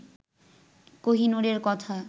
কোহিনূরের কথা